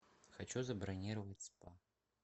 хочу забронировать спа